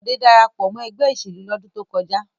Bọ̀dé dára pọ̀ mọ́ ẹgbẹ́ ìṣèlú lọ́dún tó kọjá.